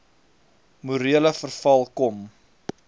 morele verval kom